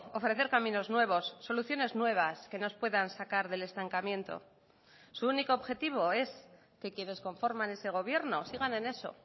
ofrecer caminos nuevos soluciones nuevas que nos puedan sacar del estancamiento su único objetivo es que quienes conforman ese gobierno sigan en eso